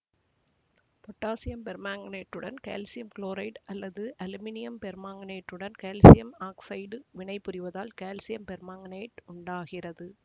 potassium பெர்மாங்கனேட்டுடன் calcium chloride அல்லது aluminium பெர்மாங்கனேட்டுடன் கால்சியம் ஆக்சைடு வினைபுரிவதால் கால்சியம் பெர்மாங்கனேட்டு உண்டாகிறது